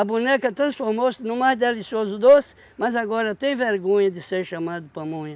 A boneca transformou-se num mais delicioso doce, mas agora tem vergonha de ser chamada de pamonha.